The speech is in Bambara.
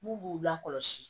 N'u b'u la kɔlɔsi